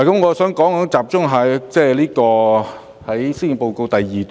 我想集中說施政報告第二段。